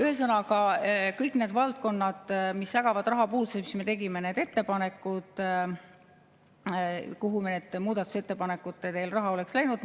Ühesõnaga, kõik need valdkonnad, mis ägavad rahapuuduse all ja mille puhul me tegime ettepanekud, kuhu veel raha oleks läinud …